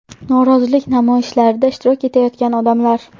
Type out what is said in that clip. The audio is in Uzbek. Norozilik namoyishlarida ishtirok etayotgan odamlar.